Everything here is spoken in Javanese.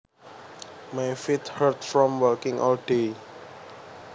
My feet hurt from walking all day